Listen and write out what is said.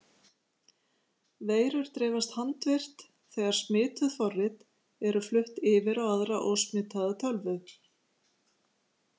Veirur dreifast handvirkt þegar smituð forrit eru flutt yfir á aðra ósmitaða tölvu.